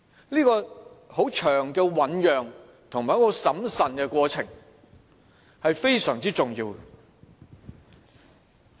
這個漫長的醞釀及很審慎的過程非常重要。